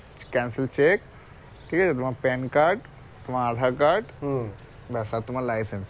cancelled cheque ঠিক আছে তোমার PAN card তোমার aadhar card বাস আর তোমার license